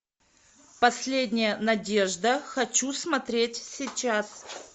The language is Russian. последняя надежда хочу смотреть сейчас